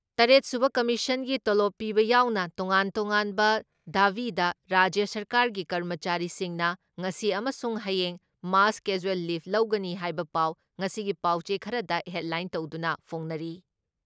ꯇꯔꯦꯠ ꯁꯨꯕ ꯀꯃꯤꯁꯟꯒꯤ ꯇꯣꯂꯣꯞ ꯄꯤꯕ ꯌꯥꯎꯅ ꯇꯣꯉꯥꯟ ꯇꯣꯉꯥꯟꯕ ꯗꯥꯕꯤꯗ ꯔꯥꯖ꯭ꯌ ꯁꯔꯀꯥꯔꯒꯤ ꯀꯔꯃꯆꯥꯔꯤꯁꯤꯡꯅ ꯉꯁꯤ ꯑꯃꯁꯨꯡ ꯍꯌꯦꯡ ꯃꯥꯁ ꯀꯦꯖ꯭ꯋꯦꯜ ꯂꯤꯞ ꯂꯧꯒꯅꯤ ꯍꯥꯏꯕ ꯄꯥꯎ ꯉꯁꯤꯒꯤ ꯄꯥꯎꯆꯦ ꯈꯔꯗ ꯍꯦꯠꯂꯥꯏꯟ ꯇꯧꯗꯨꯅ ꯐꯣꯡꯅꯔꯤ ꯫